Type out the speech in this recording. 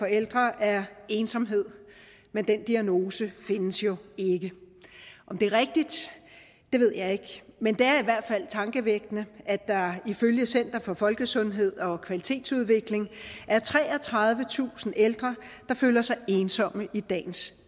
ældre er ensomhed men den diagnose findes jo ikke om det er rigtigt ved jeg ikke men det er i hvert fald tankevækkende at der ifølge center for folkesundhed og kvalitetsudvikling er treogtredivetusind ældre der føler sig ensomme i dagens